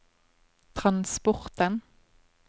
transporten